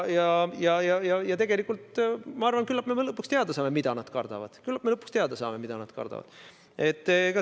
Ja tegelikult ma arvan, et küllap me lõpuks saame teada, mida nad kardavad.